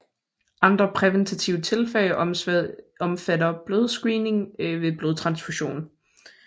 Andre præventive tiltag omfatter blodscreening ved blodtransfusion